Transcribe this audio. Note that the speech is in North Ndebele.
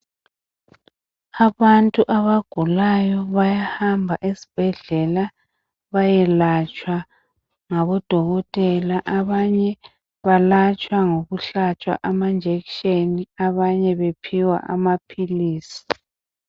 Abantu abagulayo bayahamba esibhedlela bayelatshwa ngabodokotela abanye balatshwa ngokuhlatshwa amajekiseni abanye bephiwe amaphilisi.